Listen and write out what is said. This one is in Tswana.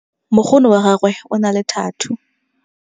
mokgono wa gagwe o na le thathuu